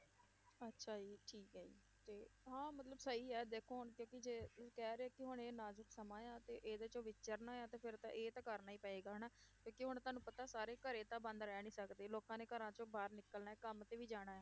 ਅੱਛਾ ਜੀ ਠੀਕ ਹੈ ਜੀ ਤੇ ਹਾਂ ਮਤਲਬ ਸਹੀ ਹੈ ਦੇਖੋ ਹੁਣ ਕਿਉਂਕਿ ਜੇ ਕਹਿ ਰਹੇ ਕਿ ਹੁਣ ਇਹ ਨਾਜ਼ੁਕ ਸਮਾਂ ਆ ਤੇ ਇਹਦੇ ਚੋਂ ਵਿਚਰਨਾ ਹੈ ਤੇ ਫਿਰ ਇਹ ਤਾਂ ਕਰਨਾ ਹੀ ਪਏਗਾ ਹਨਾ, ਕਿਉਂਕਿ ਹੁਣ ਤੁਹਾਨੂੰ ਪਤਾ ਸਾਰੇ ਘਰੇ ਤਾਂ ਬੰਦ ਰਹਿ ਨੀ ਸਕਦੇ ਲੋਕਾਂ ਨੇ ਘਰਾਂ ਚੋਂ ਬਾਹਰ ਨਿਕਲਣਾ ਹੈ, ਕੰਮ ਤੇ ਵੀ ਜਾਣਾ ਹੈ।